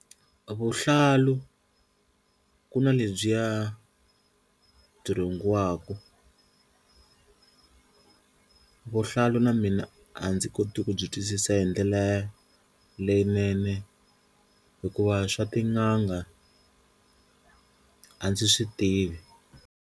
Vuhlalu ku na lebyiya byi rhungiwaku, vuhlalu na mina a ndzi koti ku byi twisisa hi ndlela leyinene hikuva swa tin'anga a ndzi swi tivi.